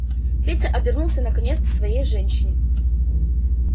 петя обернулся наконец к своей женщине